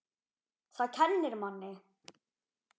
Það kennir manni.